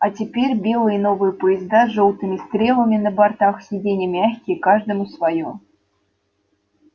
а теперь белые новые поезда с жёлтыми стрелами на бортах сиденья мягкие каждому своё